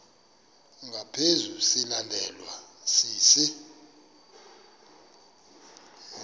ngaphezu silandelwa sisi